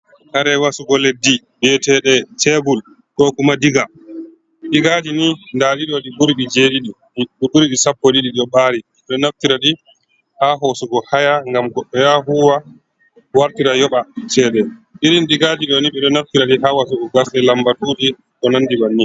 Kare wasugo leɗɗi, bi etede shebul ko kuma diga, digaji ni nda ɗiɗo ni ɗi ɓuri jedidi, ɗi ɓuri sappo ɗiɗi, ɗi ɗo ɓari ɓiɗo naftira ɗi ha hosu go haya, ngam goɗɗo ya huwa wartira yoba cede. Irin digaji do ni ɓeɗo naftira ɗi ha wasugo gas ɗe lambatu ji ko nandi bannin.